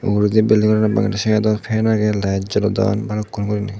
ugurendi building nganot bangendi sidedot fan agey light jolodon balukkun gurine.